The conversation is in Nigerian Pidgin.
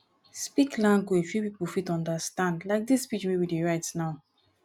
speak language wey pipo fit understand like this pidgin wey we dey write now